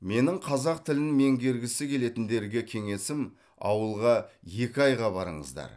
менің қазақ тілін меңгергісі келетіндерге кеңесім ауылға екі айға барыңыздар